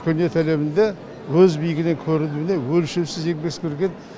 өркениет әлемінде өз биігінен көрінуіне өлшеусіз еңбек сіңірген